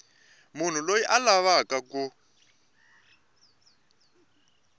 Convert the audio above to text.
munhu loyi a lavaka ku